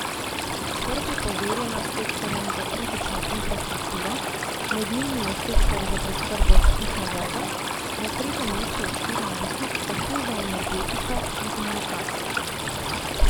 Skrb je poverjena sektorjem za kritično infrastrukturo, med njimi je sektor za preskrbo s pitno vodo na tretjem mestu od štirinajstih, takoj za energetiko in komunikacijami.